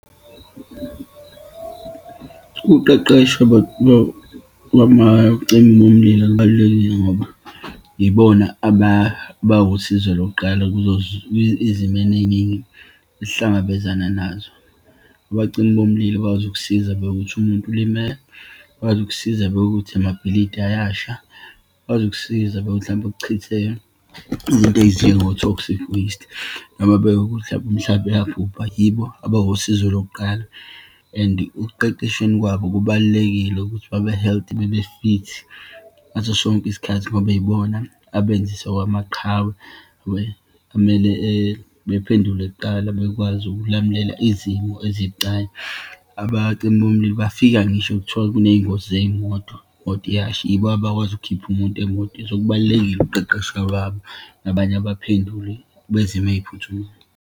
Ukuqeqeshwa kwamacimi bomlilo kubalulekile ngoba yibona abawusizo lokuqala kuzo izimeni eyiningi esihlangabezana nazo. Abacimi bomlilo bazokusiza bekuwuthi umuntu ulimele, bazokusiza uma bekuwuthi amabhilidi ayasha, bazokusiza uma hlampe kuchitheke izinto ezinjengo-toxic watse, noma uma bekuwuthi hlampe umhlaba uyabhubha. Yibo abawusizo lokuqala and ukuqeqeshweni kwabo kubalulekile ukuthi babe-healthy, babe-fit ngaso sonke isikhathi, ngoba ibona abenzisa okwamaqhawe, we. Kumele bephendule kuqala bekwazi ukulamulela izimo ezibucayi. Abacimi bomlilo bafika ngisho kuthiwa kuneyingozi zeyimoto, imoto iyasha, yibo abakwazi ukukhipha umuntu emotweni. So, kubalulekile ukuqeqeshwa kwabo nabanye abaphenduli bezimo eyiphuthumayo.